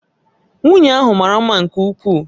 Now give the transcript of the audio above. Nwunye ahụ mara mma nke ukwuu